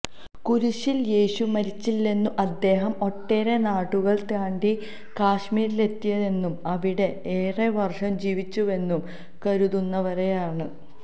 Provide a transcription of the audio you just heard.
കുരിശിൽ യേശു മരിച്ചില്ലെന്നും അദ്ദേഹം ഒട്ടേറെ നാടുകൾ താണ്ടി കാശ്മീരിലെത്തിയെന്നും അവിടെ ഏറെവർഷം ജീവിച്ചുവെന്നും കരുതുന്നവരേറെയാണ്